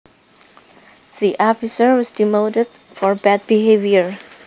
The officer was demoted for bad behavior